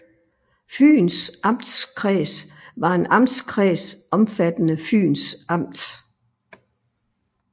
Fyns Amtskreds var en amtskreds omfattende Fyns Amt